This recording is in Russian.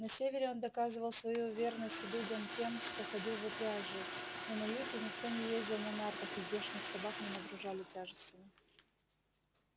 на севере он доказывал свою верность людям тем что ходил в упряжи но на юте никто не ездил на нартах и здешних собак не нагружали тяжестями